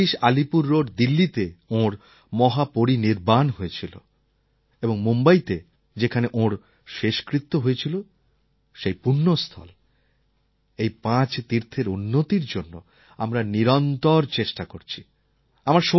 ২৬ Alipur road দিল্লিতে ওঁর মহাপরিনির্বাণ হয়েছিল এবং মুম্বইতে যেখানে ওঁর শেষকৃত্য হয়েছিল সেই পূণ্যস্থল এই পাঁচ তীর্থের উন্নতির জন্য আমরা নিরন্তর চেষ্টা করছি